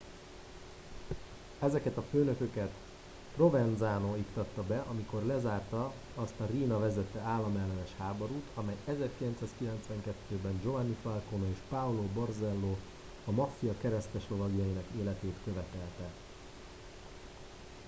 ezeket a főnököket provenanzo iktatta be amikor lezárta azt a riina vezette államellenes háborút amely 1992 ben giovanni falcone és paolo borsello a maffia kereszteslovagjainak életét követelte